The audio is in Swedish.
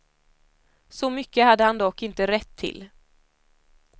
Så mycket hade han dock inte rätt till.